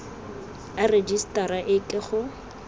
a rejisetara e ke go